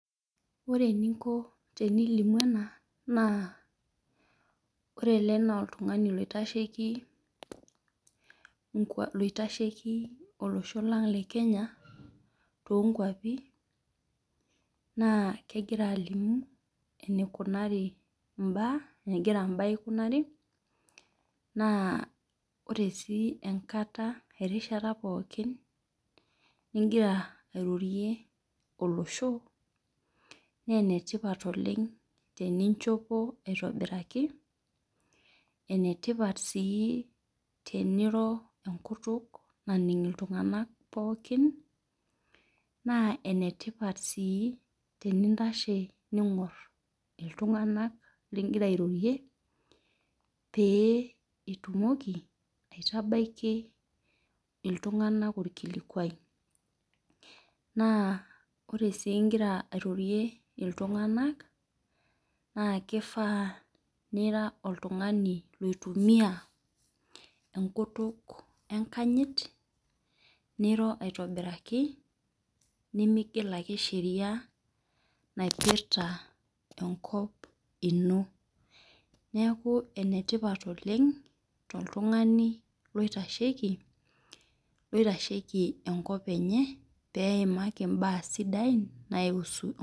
Ore eninko tenilimu ena ore ele na oltung'ani oitasheki olosho lang lekenya tonkwapi na kegira ailimu enigeri mbaa aikunari na ore si enkata na erishata pooki kegira airorie olosho na enetipat oleng teninchopo aitobiraki na enetipat teniro enkutuk naning ltunganak na enetipat si tenintasho ningur ltunganak lingira airorie peitumoki aita baki ltunganak orkilikuai , ltunganak na kifaa nira oltungani oitumia enkutuk enkanyit nironaitobiraki migil ake sheria naipirta enkop ino neaku enetipat oleng toltungani oitasheki peimaki enkop enye mbaa sidain kuhusu.